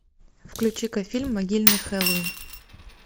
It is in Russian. включи ка фильм могильный хэллоуин